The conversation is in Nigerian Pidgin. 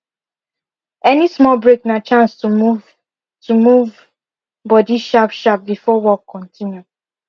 any small break na chance to move to move body sharp sharp before work continue